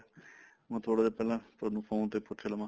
ਮੈਂ ਥੋੜਾ ਜਾ ਪਹਿਲਾਂ ਤੁਹਾਨੂੰ phone ਤੇ ਪੁੱਛ ਲਵਾ